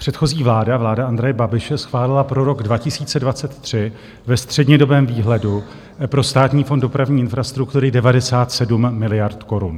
Předchozí vláda, vláda Andreje Babiše, schválila pro rok 2023 ve střednědobém výhledu pro Státní fond dopravní infrastruktury 97 miliard korun.